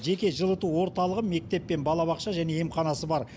жеке жылыту орталығы мектеп пен балабақша және емханасы бар